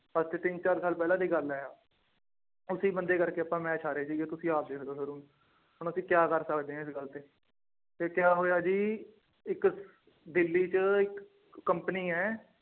ਅੱਜ ਤੇ ਤਿੰਨ ਚਾਰ ਸਾਲ ਪਹਿਲਾਂ ਦੀ ਗੱਲ ਹੈੈ ਆਹ ਉਸੇ ਬੰਦੇ ਕਰਕੇ ਆਪਾਂ match ਹਾਰੇ ਸੀਗੇ ਤੁਸੀਂ ਆਪ ਦੇਖ ਲਓ ਫਿਰ, ਹੁਣ ਅਸੀਂ ਕਿਆ ਕਰ ਸਕਦੇ ਹਾਂ ਇਸ ਗੱਲ ਤੇ, ਤੇ ਕਿਆ ਹੋਇਆ ਜੀ ਇੱਕ ਦਿੱਲੀ ਚ ਇੱਕ company ਹੈ